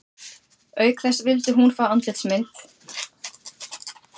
Auk þess vildi hún fá andlitsmynd